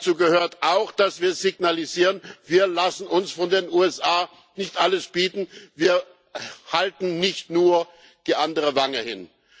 Dazu gehört auch, dass wir signalisieren Wir lassen uns von den USA nicht alles bieten, wir halten nicht nur die andere Wange hin.